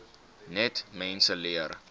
net mense leer